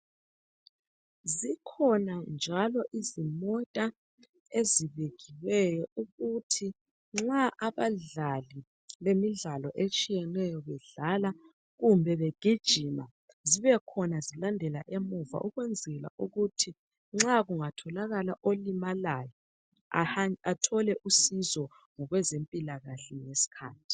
Zikhona njalo izimota ezibekiweyo ukuthi nxa abadlali bemidlalo etshiyeneyo, bedlala, kumbe begijima. Zibekhona, zilandela emuva. Ukwenzela ukuthi kungatholakala olimalayo, athole usizo, ngokwezempilakahle, ngesikhathi.